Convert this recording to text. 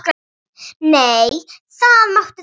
Nei, það máttu þau ekki.